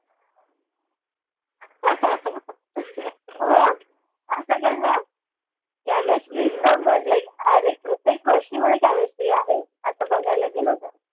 वा असं कस chemistry like अरे प्रत्येक गोष्टींमध्ये chemistry आहे असं बघायला गेलो तर